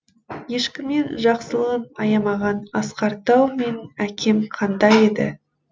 ешкімнен жақсылығын аямаған асқар тау менің әкем қандай еді